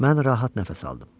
Mən rahat nəfəs aldım.